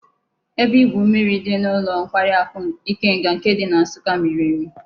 Ebe igwu mmiri di n'ulo nkwari aku Ikenga nke di na nsukka miri emi